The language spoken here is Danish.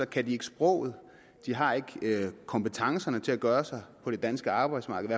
kan de ikke sproget og de har ikke kompetencerne til at gøre sig på det danske arbejdsmarked